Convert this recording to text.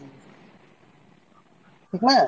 ঠিক না?